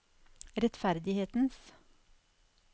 rettferdighetens